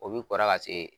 O bi kɔrɔ ka se